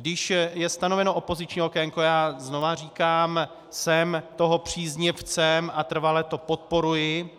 Když je stanoveno opoziční okénko - já znovu říkám, jsem toho příznivcem a trvale to podporuji,